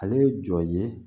Ale ye jɔn ye